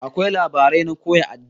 Akwai labarai na koya addini